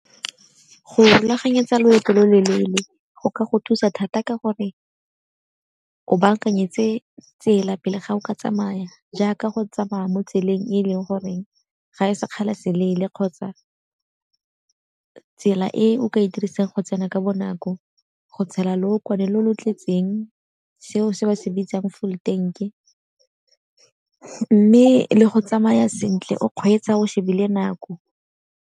Go rulaganyetsa loeto lo lelele go ka go thusa thata ka gore o bankanyetse tsela pele ga o ka tsamaya jaaka go tsamaya mo tseleng e leng goreng ga e sekgala se leele, kgotsa tsela e o ka e dirisang go tsena ka bonako. Go tshela lookwane le le tletseng seo se ba se bitsang full tank-e mme le go tsamaya sentle o kgweetsa o shebile nako.